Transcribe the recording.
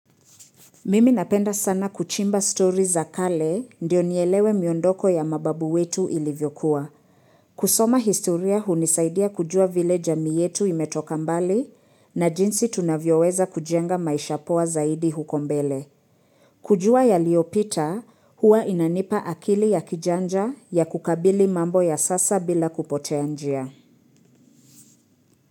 Mimi napenda sana kuchimba story za kale ndio nielewe miondoko ya mababu wetu ilivyokuwa. Kusoma historia hunisaidia kujua vile jamii yetu imetoka mbali na jinsi tunavyoweza kujenga maisha poa zaidi huko mbele. Kujua yaliopita huwa inanipa akili ya kijanja ya kukabili mambo ya sasa bila kupotea njia.